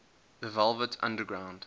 the velvet underground